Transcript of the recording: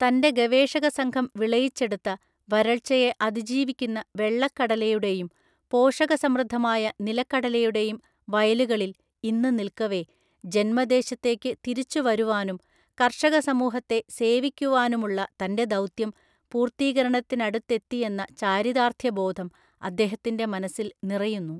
തൻ്റെ ഗവേഷകസംഘം വിളയിച്ചെടുത്ത, വരൾച്ചയെ അതിജീവിക്കുന്ന വെള്ളക്കടലയുടെയും, പോഷകസമൃദ്ധമായ നിലക്കടലയുടെയും വയലുകളിൽ ഇന്ന് നിൽക്കവേ, ജന്മദേശത്തേക്ക് തിരിച്ചുവരുവാനും കർഷകസമൂഹത്തെ സേവിക്കുവാനുമുള്ള തൻ്റെ ദൗത്യം പൂർത്തീകരണത്തിനടുത്തെത്തിയെന്ന ചാരിതാർത്ഥ്യബോധം അദ്ദേഹത്തിൻ്റെ മനസ്സിൽ നിറയുന്നു.